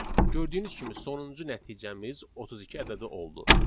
Gördüyünüz kimi sonuncu nəticəmiz 32 ədədi oldu.